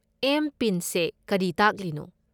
M. PIN ꯁꯦ ꯀꯔꯤ ꯇꯥꯛꯂꯤꯅꯣ?